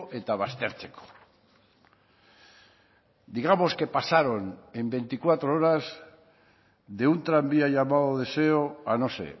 eta baztertzeko digamos que pasaron en veinticuatro horas de un tranvía llamado deseo a no sé